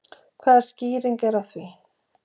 Hvaða skýring er á því?